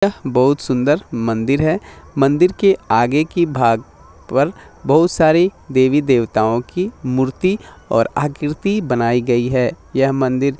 यह बहुत सुन्दर मंदिर है मंदिर के आगे की भाग पर बहुत सारी देवी देवताओ की मूर्ति और आकृति बनाई गयी है यह मंदिर --